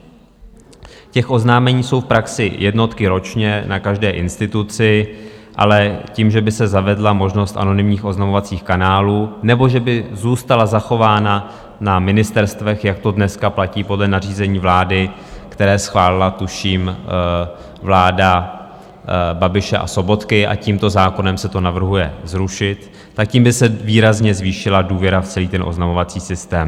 Těch oznámení jsou v praxi jednotky ročně na každé instituci, ale tím, že by se zavedla možnost anonymních oznamovacích kanálů nebo že by zůstala zachována na ministerstvech, jak to dneska platí podle nařízení vlády, které schválila tuším vláda Babiše a Sobotky - a tímto zákonem se to navrhuje zrušit - tak tím by se výrazně zvýšila důvěra v celý ten oznamovací systém.